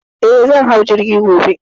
Eh, zan hau jirgi gobe.